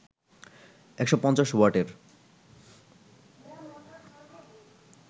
১৫০ ওয়াটের